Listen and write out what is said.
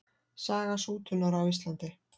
Saga sútunar á Íslandi.